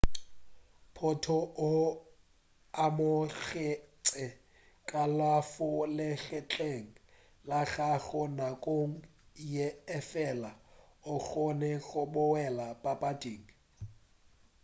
potro o amogetše kalafo legetleng la gagwe nakong ye efela o kgonne go boela papading